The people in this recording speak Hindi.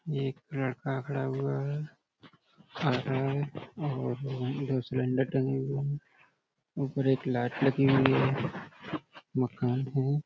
ये एक लड़का खड़ा हुआ है। आ रहा है और अं दो सिलेंडर टंगे हुए हैं। ऊपर एक लाइट लगी हुई है। मकान हैं।